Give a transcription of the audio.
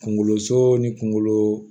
Kunkoloso ni kunkolo